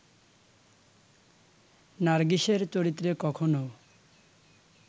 নার্গিসের চরিত্রে কখনও